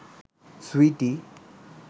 Sweety